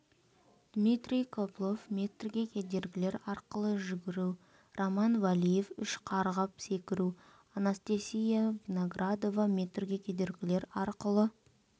дмитрий коблов метрге кедергілер арқылы жүгіру роман валиев үш қарғып секіру анастасия виноградова метрге кедергілер арқылы